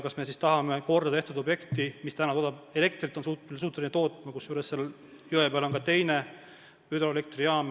Kas me siis tahame sulgeda kordatehtud objekti, mis täna on suuteline tootma elektrit, kusjuures seal jõe peal on ka teine hüdroelektrijaam?